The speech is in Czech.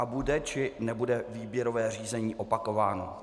A bude, či nebude výběrové řízení opakováno?